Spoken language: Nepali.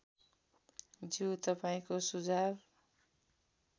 ज्यू तपाईँको सुझाव